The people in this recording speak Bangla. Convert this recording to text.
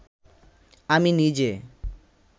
আমি নিজে